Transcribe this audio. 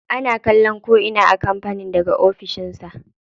Ana kallon ko'ina a kampanin daga ofishin sa.